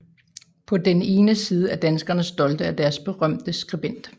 På den ene side er danskerne stolte af deres berømte skribent